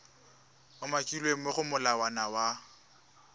umakilweng mo go molawana wa